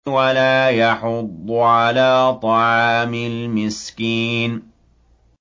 وَلَا يَحُضُّ عَلَىٰ طَعَامِ الْمِسْكِينِ